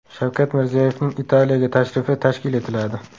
Shavkat Mirziyoyevning Italiyaga tashrifi tashkil etiladi.